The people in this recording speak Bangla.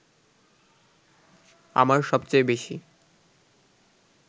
আমার সবচেয়ে বেশি